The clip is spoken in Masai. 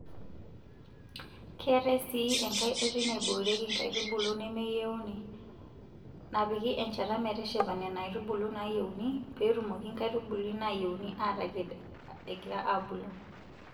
Keetae sii enkae oitoi naiboorieki nkaitubulu nemeyieuni napiki enchata meteshepa Nena aitubulu naayieuni peetumoki nkaitubulu naayieuni aataked egira aabulu.